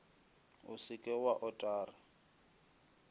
o se ke wa otara